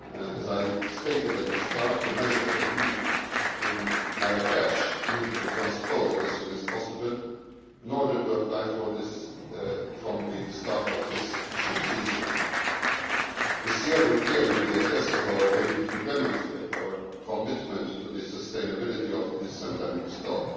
As I stated at the start, the measures agreed in Marrakesh need to be transposed as soon as possible in order to apply from the start of this fishing season. This year will clearly be a test of our ability to demonstrate our commitment to the sustainability of this endemic stock.